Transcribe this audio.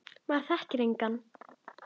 Maður þekkti engan.